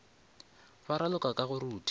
ba raloka ka go rutha